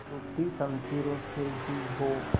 टूटी शमशीरों से ही हो